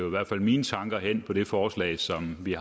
i hvert fald mine tanker hen på det forslag som vi